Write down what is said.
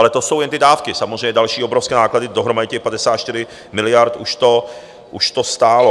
Ale to jsou jen ty dávky - samozřejmě další obrovské náklady, dohromady 54 miliard už to stálo.